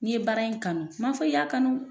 N'i ye baara in kanu m'a fɔ i y'a kanu